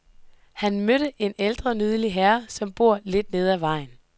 Han mødte en ældre, nydelig herre, som bor lidt nede ad vejen.